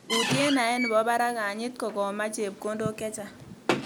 Utye naet nebo barak kanyit kokomach chepkondok chechang